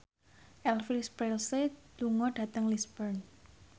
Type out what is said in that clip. Elvis Presley lunga dhateng Lisburn